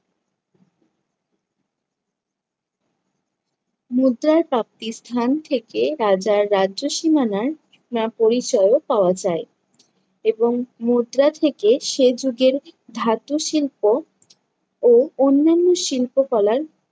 মুদ্রার প্রাপ্তি স্থান থেকে রাজার রাজ্য সীমানার বা পরিচয়ও পাওয়া যায়। এবং মুদ্রা থেকে সে যুগের ধাতু শিল্প ও অন্যান্য শিল্পকলার